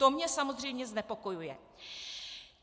To mě samozřejmě znepokojuje.